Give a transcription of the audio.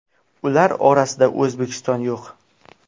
Ular orasida O‘zbekiston yo‘q.